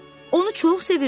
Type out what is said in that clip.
Onu çox sevirdi.